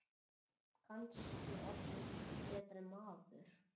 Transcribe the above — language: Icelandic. Kannski orðið betri maður.